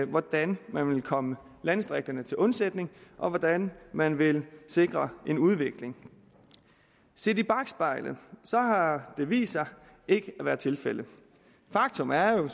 hvordan man vil komme landdistrikterne til undsætning og hvordan man vil sikre en udvikling set i bakspejlet har det vist sig ikke at være tilfældet faktum er jo